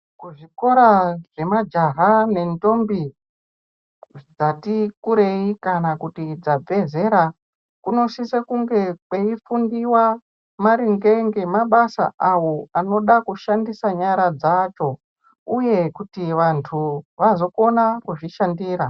Kuzvikora zvemajaha nendombi dzati kurei kana kuti dzabve zera kunosise kunge kweifundiwa maringe ngemabasa awo anode kushandisa nyara dzacho uye kuti vanhu vazokone kuzvishandira.